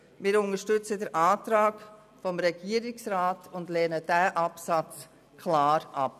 Wir unterstützen den Antrag des Regierungsrats und lehnen diesen Absatz klar ab.